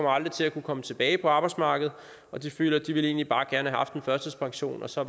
aldrig vil komme tilbage på arbejdsmarkedet og de føler at de egentlig bare gerne ville have haft en førtidspension så